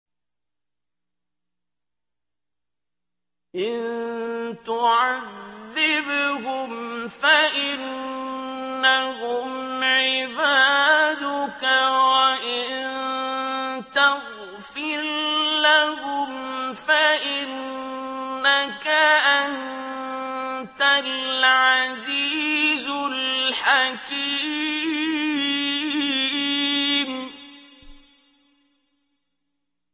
إِن تُعَذِّبْهُمْ فَإِنَّهُمْ عِبَادُكَ ۖ وَإِن تَغْفِرْ لَهُمْ فَإِنَّكَ أَنتَ الْعَزِيزُ الْحَكِيمُ